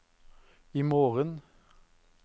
imorgen